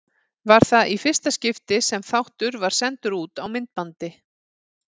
Var það í fyrsta skipti sem þáttur var sendur út á myndbandi.